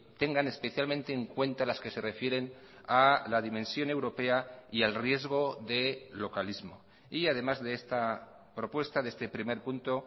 tengan especialmente en cuenta las que se refieren a la dimensión europea y al riesgo de localismo y además de esta propuesta de este primer punto